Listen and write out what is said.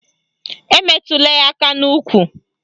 Emetụla ya aka n'ukwu